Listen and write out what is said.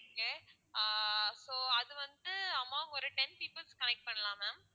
okay ஆஹ் so அது வந்து ma'am ஒரு ten people க்கு connect பண்ணலாம் ma'am